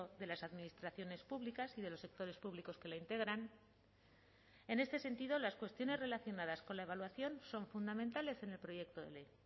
de las administraciones públicas y de los sectores públicos que la integran en este sentido las cuestiones relacionadas con la evaluación son fundamentales en el proyecto de ley